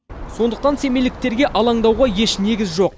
сондықтан семейліктерге алаңдауға еш негіз жоқ